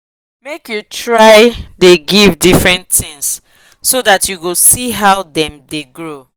make u try the give different things so that u go see how them the grow